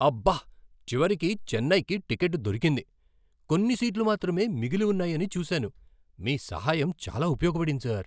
అబ్బ! చివరికి చెన్నైకి టిక్కెట్టు దొరికింది. కొన్ని సీట్లు మాత్రమే మిగిలి ఉన్నాయని చూశాను. మీ సహాయం చాలా ఉపయోగపడింది సార్